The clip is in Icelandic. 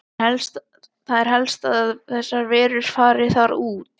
Það er helst að þessar verur fari þar út.